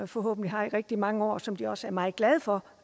forhåbentlig har rigtig mange år og som de også er meget glade for